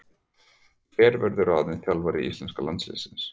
Hver verður ráðinn þjálfari íslenska landsliðsins?